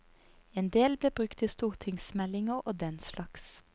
En del ble brukt i stortingsmeldinger og den slags.